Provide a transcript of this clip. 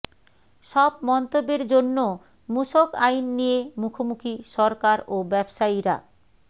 সব মন্তব্যের জন্য মূসক আইন নিয়ে মুখোমুখি সরকার ও ব্যবসায়ীরা